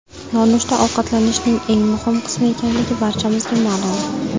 Nonushta ovqatlanishning eng muhim qismi ekanligi barchamizga ma’lum.